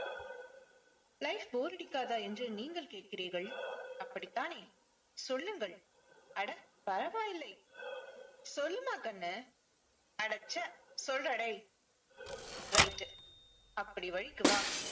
life bore அடிக்காதா என்று நீங்கள் கேட்கிறீர்கள். அப்படித்தானே? சொல்லுங்கள். அட பரவாயில்லை. சொல்லுமா கண்ணு அடச்ச சொல்லுடா டேய் right டு அப்படி வழிக்கு வா.